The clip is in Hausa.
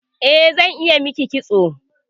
Eh, zan iya miki kitso